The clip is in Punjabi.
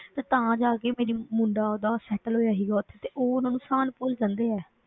ਤੇ ਤਾਂ ਜਾ ਕੇ ਮੇਰੀ ਮੁੰਡਾ ਉਹਦਾ settle ਹੋਇਆ ਸੀਗਾ ਉੱਥੇ ਤੇ ਉਹ ਉਹਨਾਂ ਨੂੰ ਅਹਿਸਾਨ ਭੁੱਲ ਜਾਂਦੇ ਆ।